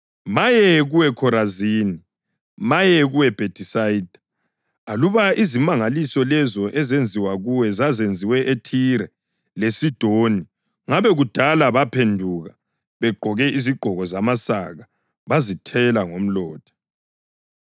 Maye kuwe Khorazini! Maye kuwe Bhethisayida! Aluba izimangaliso lezo ezenziwa kuwe zazenziwe eThire leSidoni ngabe kudala baphenduka begqoke izigqoko zamasaka bazithela ngomlotha.